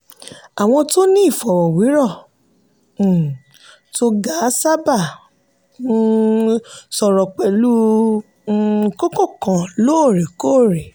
àwọn tí wọ́n ní ìfọ̀rọ̀wérọ̀ um tó ga sábà um sọ̀rọ̀ pẹ̀lú um kókó kan lóòrèkóòrè.